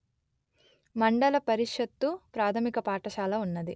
మండల పరిషత్తు ప్రాథమిక పాఠశాల ఉన్నది